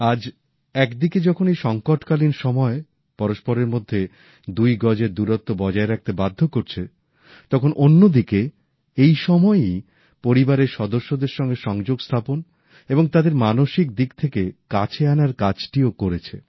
আজ একদিকে যখন এই সঙ্কটকালীন সময় পরস্পরের মধ্যে দুই গজের দূরত্ব বজায় রাখতে বাধ্য করছে তখন অন্যদিকে এই সময়ই পরিবারের সদস্যদের সঙ্গে সংযোগ স্থাপন এবং তাদের মানসিক দিক থেকে কাছে আনার কাজটিও করেছে